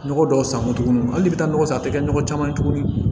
Nɔgɔ dɔw san moto tuguni hali i bɛ taa nɔgɔ san a tɛ kɛ nɔgɔ caman ye tuguni